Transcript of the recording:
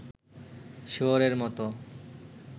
শুয়োরের মত